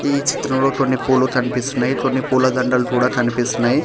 ఈ చిత్రంలో కొన్ని పూలు కనిపిస్తున్నాయి కొన్ని పూలదండలు కూడా కనిపిస్తున్నాయి.